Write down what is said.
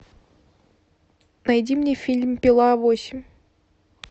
найди мне фильм пила восемь